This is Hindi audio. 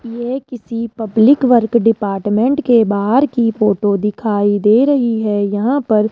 यह किसी पब्लिक वर्क डिपार्टमेंट के बाहर की फोटो दिखाई दे रही है यहां पर --